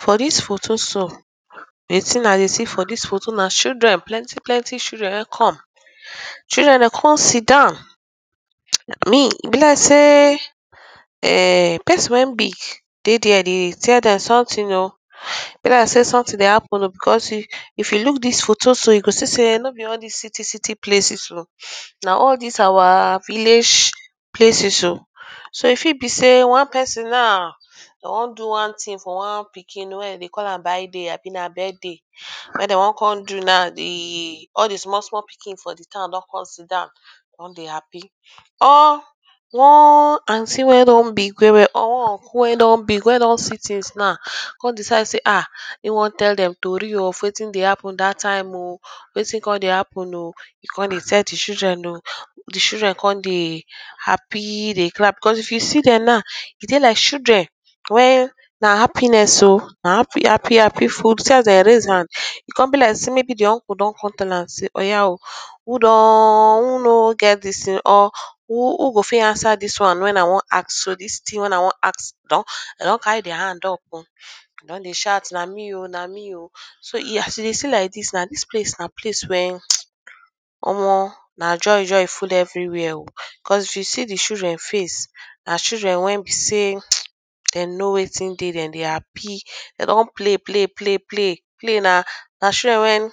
For dis photo so, de thing I dey see for dis photo na children, plenty plenty children wey come, children dey come sit down, me, e be like sey um person wey big dey de there tell dem something oo, e be like sey something dey happen oo, because if you look dis photo so, you go see sey no be all dis city city places o, na all dis our village places oo, so e fit be sey one person now, dem wan do one thing for one pikin wey dem dey call am baiday abi na birthday wey dem one come do now de, all de small small pikin for de town don come sit down don de happy or one aunty wey don big well well or one uncle wey don big, wey don see things now come decide say ah, e wan tell dem tori oo of wetin dey happen that time oo, wetin come dey happen oo, e come dey tell de children oo, de children come dey happy dey clap because if you see dem now, e dey like children where na happiness oo, na happy, happy full, see as dem raise hand, e come be like sey maybe de uncle don tell dem say, oya oo, who don, who no get dis thing or who go fit answer dis one wey I wan ask so, dis thing wey I wan ask, dem don carry their hands up oo, dem don dey shout na me oo, na me oo, so as you dey see like dis now, dis place na place wey um omor, na joy joy full everywhere because if you see de children face, na childen wey be sey um, dem know wetin dey, dem dey happy, dey don play play play play play, na children wey um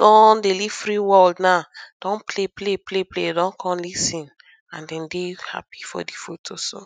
don dey live free world now, don play play play play, dem don come lis ten and dem dey happy for de photo so.